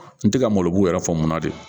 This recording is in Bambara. N tɛ ka malobu yɛrɛ faamu de